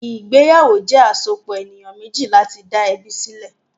Ìgbéyàwó jẹ́ àsopọ̀ ènìyàn méjì láti dá ẹbí sílẹ̀.